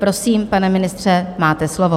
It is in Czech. Prosím, pane ministře, máte slovo.